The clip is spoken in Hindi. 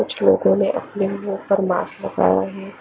कुछ लोगो ने अपने लिए--